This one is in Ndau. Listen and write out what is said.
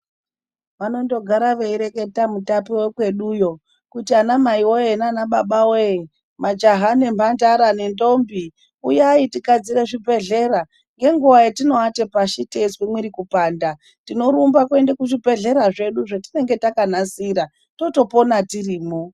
Vanondogara veireketa Mutape vekweduyo, kuti anamai woye naanababa wee; majaha nemhandara nendombi, uyai tigadzire zvibhedhlera. Ngenguwa yetinoate pashi teizwe mwiri kupanda, tinorumba kuenda kuzvibhedhlera zvedu zvetinonga takanasira totopona tirimwo.